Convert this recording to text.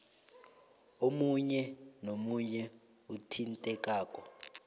omunye nomunye othintekako